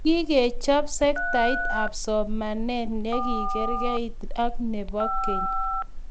Kikechob sektait ab somanet yekikerkeit ak nebo keny